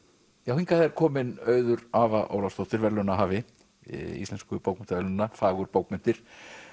hingað er komin Auður Ólafsdóttir verðlaunahafi Íslensku bókmenntaverðlaunanna fagurbókmenntir